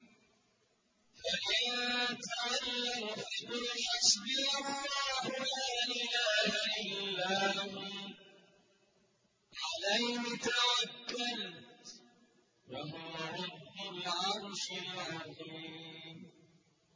فَإِن تَوَلَّوْا فَقُلْ حَسْبِيَ اللَّهُ لَا إِلَٰهَ إِلَّا هُوَ ۖ عَلَيْهِ تَوَكَّلْتُ ۖ وَهُوَ رَبُّ الْعَرْشِ الْعَظِيمِ